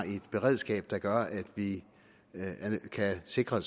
et beredskab der gør at vi kan sikre